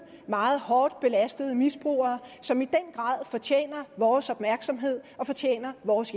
meget hårdt belastede misbrugere som i den grad fortjener vores opmærksomhed og fortjener vores